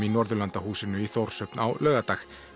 í Norðurlandahúsinu í Þórshöfn á laugardag